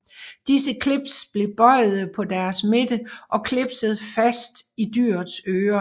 Disse clips blev bøjede på deres midte og clipset fast i dyrets øre